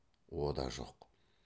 о да жоқ